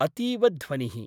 अतीव ध्वनिः।